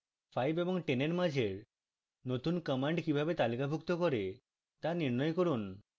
5 এবং 10 এর মাঝের নতুন commands কিভাবে তালিকাভুক্ত করে তা নির্ণয় করুন